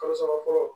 Kalo saba fɔlɔ